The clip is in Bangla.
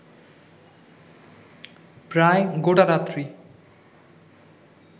প্রায় গোটা রাত্রি